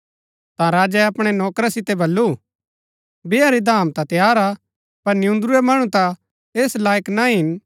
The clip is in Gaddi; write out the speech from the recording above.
ता राजै अपणै नौकरा सितै बल्लू बैहा री धाम ता तैयार हा पर नियून्दुरूरै मणु ता ऐस लायक ना हिन